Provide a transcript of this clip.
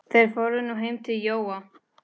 Þeir fóru nú heim til Jóa.